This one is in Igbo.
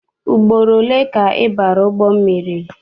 Ugboro ole ka ị bara ụgbọ mmiri?